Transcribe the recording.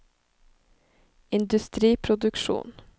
industriproduksjon